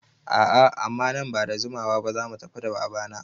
A'a amma nan bada jimawa ba zamu tafi da baba na